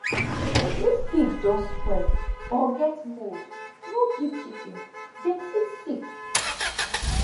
if feed don spoil or get mould no give chicken dem fit sick